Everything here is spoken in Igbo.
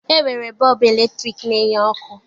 E nwere bọọbụ eletriki na-enye ọkụ